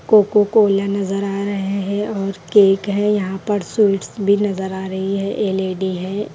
Cocoa Cola नजर आ रहे हैं और केक है यहाँ पर स्वीट्स भी नजर आ रही है ये लेडी है।